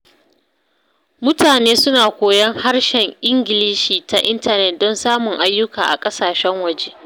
Mutane suna koyon harshen Ingilishi ta intanet don samun ayyuka a ƙasashen waje.